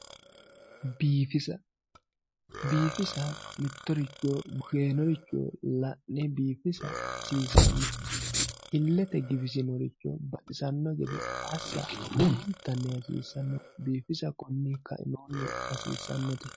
Biifisa biifisa mitoricho seenoricho biifisa hasisano ilete giwisanoricho baxisano gede asa lowontani hasisano bifisa kone kaimini hasisanote.